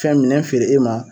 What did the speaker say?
Fɛn minɛn feere e ma.